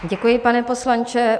Děkuji, pane poslanče.